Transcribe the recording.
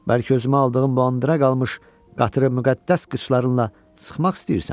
Bəlkə özümə aldığım Bələndirə qalmış qatırı müqəddəs qıçlarınla sıxmaq istəyirsən?